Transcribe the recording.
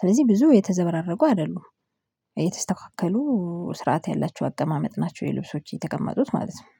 ስለዚህ ብዙ የተዘበራረቁ አይደሉም። የተስተካከሉ ስርዓት ያላቸው አቀማመጥ ናቸው የልብሶች የተቀመጡት ማለት ነው